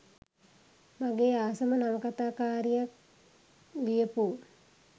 මගේ ආසම නවකතා කාරියක් ලියපු.